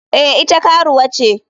Eh ita karuwa ce.